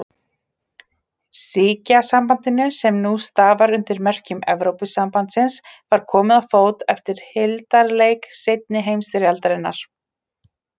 Ríkjasambandinu, sem nú starfar undir merkjum Evrópusambandsins, var komið á fót eftir hildarleik seinni heimsstyrjaldar.